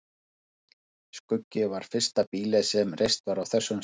Skuggi var fyrsta býlið sem reist var á þessum slóðum.